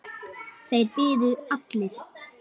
Þeir biðu allir.